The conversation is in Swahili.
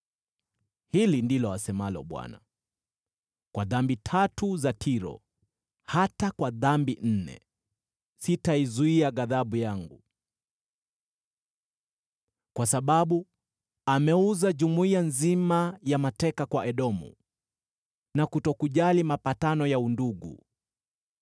Hili ndilo asemalo Bwana : “Kwa dhambi tatu za Tiro, hata kwa dhambi nne, sitaizuia ghadhabu yangu. Kwa sababu ameuza jumuiya nzima ya mateka kwa Edomu, na kutokujali mapatano ya undugu,